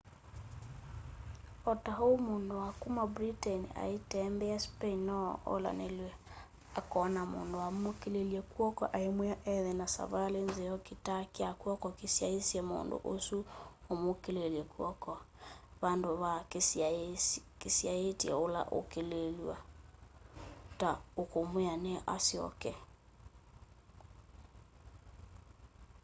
o ta oũ mũndũ wa kũma britain aitembea spain no olanĩlw'e akona mũndũ ũmũkĩlĩlye kwoko aĩmwĩa ethe na savalĩ nzeo kitaa kya kw'oko kĩsyaĩtye mũndũ ũsũ ũmũkĩlĩlye kw'oko vandũ va kĩsyaĩtye ũla ũkũkĩlĩlw'a ta ũkũmwĩa nĩ asyoke